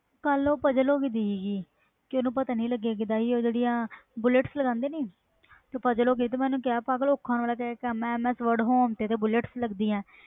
ਕਲ ਉਹ ਹੋ puzzle ਗਈ ਦੀ ਸੀ ਤੇ ਓਹਨੂੰ ਪਤਾ ਨਹੀਂ ਲਗਾਇਆ ਸੀ ullets ਕੀਦਾ ਲਗਾਂਦੇ ਸੀ ਤੇ ਉਹ puzzle ਹੋ ਗਈ ਤੇ ਮੈਂ ਓਹਨੂੰ ਕਿਹਾ ਜੋ ms word ਤੇ bullets ਲੱਗਦੀਆਂ